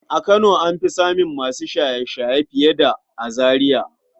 A kano an fi samun masu shaye-shaye fiye da a Zariya.